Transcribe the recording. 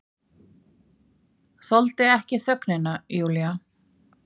Þoldi ekki þögnina, Júlía.